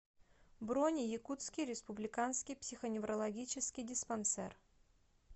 бронь якутский республиканский психоневрологический диспансер